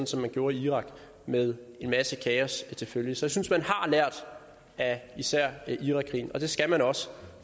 som man gjorde i irak med en masse kaos til følge så jeg synes man har lært af især irakkrigen og det skal man også